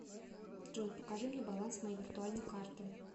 джой покажи мне баланс моей виртуальной карты